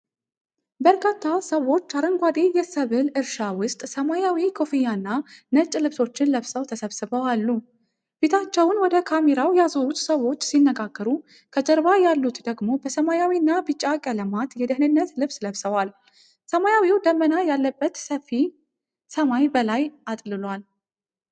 በርካታ ሰዎች አረንጓዴ የሰብል እርሻ ውስጥ ሰማያዊ ኮፍያና ነጭ ልብሶችን ለብሰው ተሰብስበው አሉ። ፊታቸውን ወደ ካሜራው ያዞሩት ሰዎች ሲነጋገሩ፣ ከጀርባ ያሉት ደግሞ በሰማያዊና ቢጫ ቀለም የደህንነት ልብስ ለብሰዋል። ሰማያዊ ደመና ያለበት ሰፊ ሰማይ በላይ አጥልሏል።